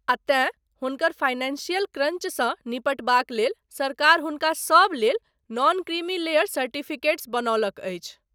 आ तेँ हुनकर फाइनेंशियल क्रंचसँ निपटबाक लेल सरकार हुनका सब लेल नॉन क्रीमी लेयर सर्टिफिकेट बनौलक अछि।